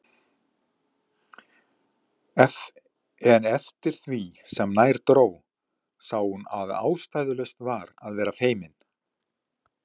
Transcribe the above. En eftir því sem nær dró sá hún að ástæðulaust var að vera feimin.